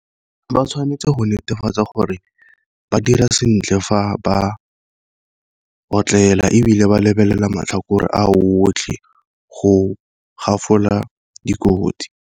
Ba tshwanetse go netefatsa gore ba dira sentle fa ba otlela, ebile ba lebelela matlhakore a otlhe go dikotsi.